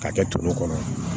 K'a kɛ to kɔnɔ